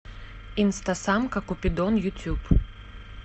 инстасамка купидон ютюб